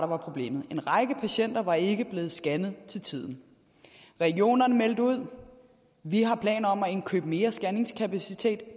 var problemet en række patienter var ikke blevet scannet til tiden regionerne meldte ud vi har planer om at indkøbe mere scanningskapacitet